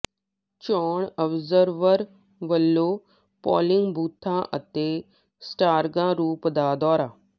ਚੋਣ ਅਬਜ਼ਰਵਰ ਵੱਲੋਂ ਪੋਲਿੰਗ ਬੂਥਾਂ ਅਤੇ ਸਟਰਾਂਗ ਰੂਮ ਦਾ ਦੌਰਾ